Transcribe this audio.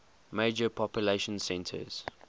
major population centers